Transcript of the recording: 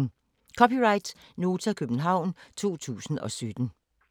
(c) Nota, København 2017